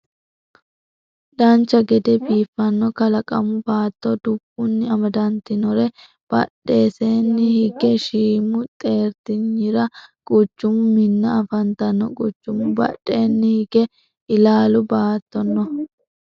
dancha gede biifanno kalaqamu baatto dubbunni amadantinotera badheseenni hige shiimu xeertinyira quchumu minna afantanno quchumu badheenni hige ilaalu baatto no